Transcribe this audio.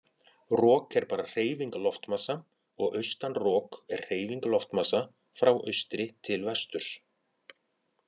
Rok er bara hreyfing loftmassa og austan rok er hreyfing loftmassa frá austri til vesturs.